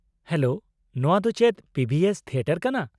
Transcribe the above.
Hello, ᱱᱚᱶᱟ ᱫᱚ ᱪᱮᱫ ᱯᱤ ᱵᱷᱤ ᱮᱥ ᱛᱷᱤᱭᱮᱴᱟᱨ ᱠᱟᱱᱟ ?